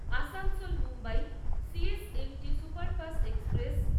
Asansol Mumbai C S M T superfast express